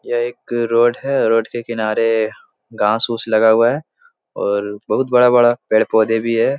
यह एक रोड है रोड के किनारे घास-उस लगा हुआ है और बहुत बड़ा-बड़ा पेड़-पौधे भी है।